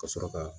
Ka sɔrɔ ka